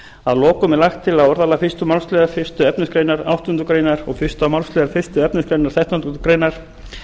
að lokum er lagt til að orðalag fyrstu málsl fyrstu efnismgr áttundu greinar og fyrstu málsl fyrstu efnismgr þrettándu greinar